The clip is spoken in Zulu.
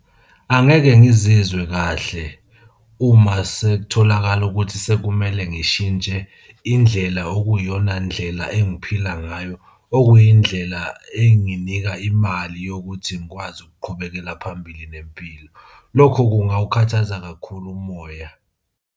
Angeke ngizizwe kahle uma sekutholakala ukuthi sekumele ngishintshe indlela okuyiyona ndlela engiphila ngayo okuyindlela enginika imali yokuthi ngikwazi ukuqhubekela phambili nempilo. Lokho kungawukhathaza kakhulu umoya.